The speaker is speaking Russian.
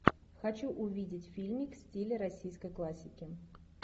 хочу увидеть фильмик в стиле российской классики